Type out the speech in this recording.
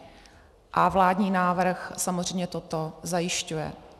A vládní návrh samozřejmě toto zajišťuje.